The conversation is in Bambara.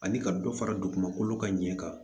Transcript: Ani ka dɔ fara dugukolo ka ɲɛ kan